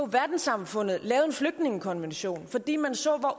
verdenssamfundet lavede en flygtningekonvention fordi man så